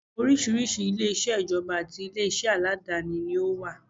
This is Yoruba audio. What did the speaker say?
Oríṣiríṣi ilé-iṣẹ́ ìjọba àti ilé iṣẹ́ aládááni ni ó wà